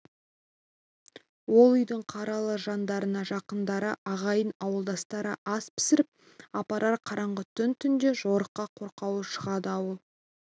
ол үйдің қаралы жаңдарына жақындары ағайын-ауылдастары ас пісіріп апарар қараңғы түн түнде жорыққа қорқаулар шығады ауыл